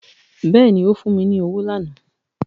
Bẹ́ẹ̀ni ó fún mi ní owó lánàá